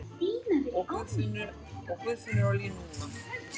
Og Guðfinnur á línuna!